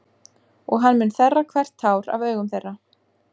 Og hann mun þerra hvert tár af augum þeirra.